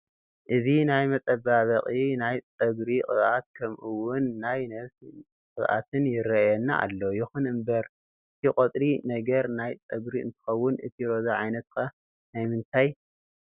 እዚ ናይ መፃባበቂ ናይ ፅግሪ ቅበኣት ከም ኡእውን ናይ ነብስ ቅባኣትን ይረኣየና ኣሎ። ይኩን እንበር እቲ ቆፃሊ ነገር ናይ ፅግሪ እንትከውን እቲ ሮዛ ዓይነት ከ ናይ ምንታይ?